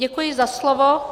Děkuji za slovo.